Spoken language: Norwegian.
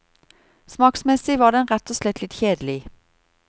Smaksmessig var den rett og slett litt kjedelig.